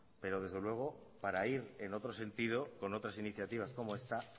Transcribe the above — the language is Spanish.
pero desde luego para ir en otro sentido con otras iniciativas como esta